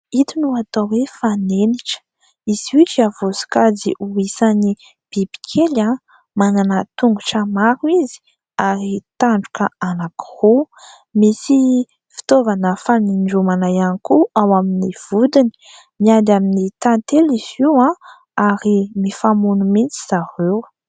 Ito no atao hoe fanenitra. Izy io dia voasokajy ho isan'ny bibikely. Manana tongotra maro izy ary tandroka anankiroa. Misy fitaovana fanindromana ihany koa ao amin'ny vodiny. Miady amin'ny tantely izy io, ary mifamono mihitsy zareo.